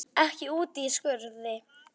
Ekki úti í skurði.